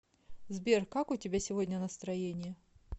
сбер как у тебя сегодня настроение